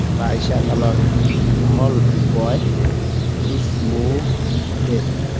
বাৰিষা কালৰ, ধল বয় দু চকু ৱেদি।